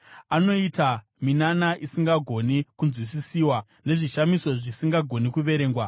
Anoita minana isingagoni kunzwisisiswa, nezvishamiso zvisingagoni kuverengwa.